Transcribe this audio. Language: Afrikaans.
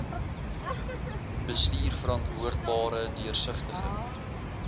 bestuur verantwoordbare deursigtige